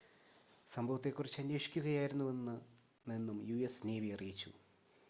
സംഭവത്തെ കുറിച്ച് അന്വേഷിക്കുകയായിരുന്നെന്നും യുഎസ് നേവി അറിയിച്ചു